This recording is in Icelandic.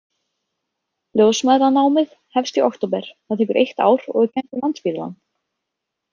Ljósmæðranámið hefst í október, það tekur eitt ár og er kennt við Landspítalann.